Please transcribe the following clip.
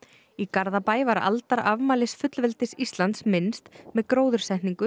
í Garðabæ var aldarafmælis fullveldis Íslands minnst með gróðursetningu